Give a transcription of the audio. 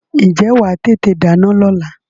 Ǹjẹ́ wà á tètè dáná lọ́la?